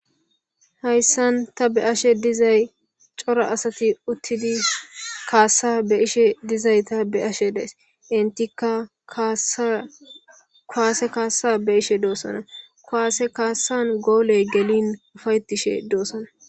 Hayissan ta be'ashe dizzay Cora asati uttidi kassa be'ishe dizayita be'ashe dayissi entika kassa kuwase kassa be'ishe doosona kuwase kassan gooleyi gellin uffa''etishe doosona.